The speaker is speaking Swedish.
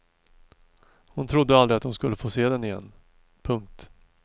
Hon trodde aldrig att hon skulle få se den igen. punkt